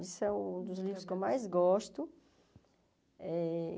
Esse é um dos livros que eu mais gosto. Eh